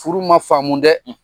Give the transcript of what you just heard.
Furu ma faamu dɛ